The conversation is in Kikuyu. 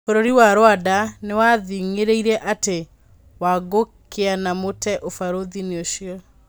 Bũrũri wa Rwanda nĩwathing'irĩirie atĩ Wangũkũnĩaumĩte ũbarũthĩ-nĩ ũcio.